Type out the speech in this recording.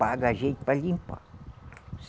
Paga a gente para limpar.